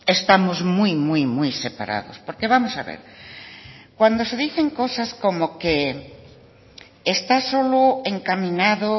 estamos muy muy muy separados porque vamos a ver cuando se dicen cosas como que esta solo encaminado